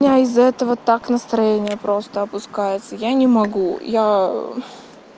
у меня из-за этого так настроение просто опускается я не могу я